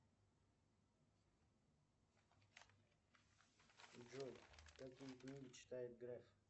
джой какие книги читает греф